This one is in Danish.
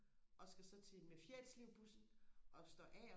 og så skal til med Fjerritslev bussen og står af